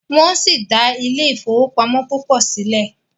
wón si dá Ile-ifowopamọ púpọ síle.